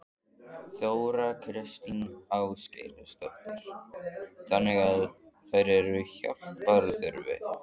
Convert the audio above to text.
Þóra Kristín Ásgeirsdóttir: Þannig að þær eru hjálpar þurfi?